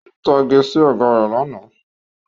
Ó ń tage sí Ọ̀gá rẹ̀ lánàá